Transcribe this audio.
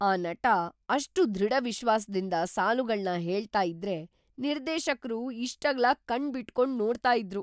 ಆ ನಟ ಅಷ್ಟು ದೃಢವಿಶ್ವಾಸ್‌ದಿಂದ ಸಾಲುಗಳ್ನ ಹೇಳ್ತ ಇದ್ರೆ ನಿರ್ದೇಶಕ್ರು ಇಷ್ಟಗ್ಲ ಕಣ್ಣ್‌ಬಿಟ್ಕೊಂಡ್‌ ನೋಡ್ತಾ ಇದ್ರು.